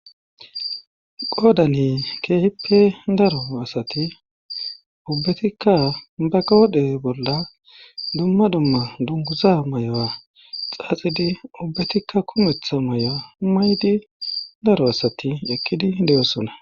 qoodani keehippe daro asati ubbetikka ba godhe bolla dumma dumma dunguza may'oa xaaxidi ubbetikka kumetha may'o maydi daro asati ekkidi de'osona.